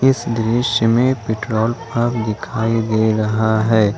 इस दृश्य में पेट्रोल पंप दिखाई दे रहा है।